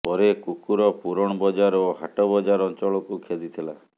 ପରେ କୁକୁର ପୁରଣ ବଜାର ଓ ହାଟ ବଜାର ଅଞ୍ଚଳକୁ ଖେଦିଥିଲା